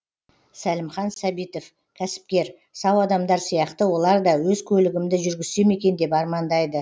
сәлімхан сәбитов кәсіпкер сау адамдар сияқты олар да өз көлігімді жүргізсем екен деп армандайды